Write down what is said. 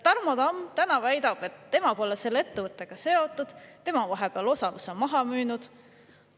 Tarmo Tamm väidab, et tema pole selle ettevõttega seotud, tema on vahepeal osaluse maha müünud.